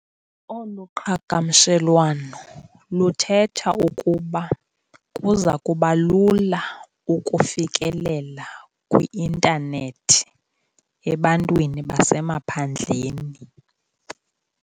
Olo qhagamshelwano luthetha ukuba kuza kuba lula ukufikelela kwi-intanethi ebantwini basemaphandleni.